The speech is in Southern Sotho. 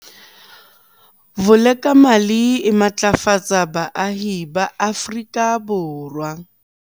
Vulekamali e matlafatsa baahi ba Afrika Borwa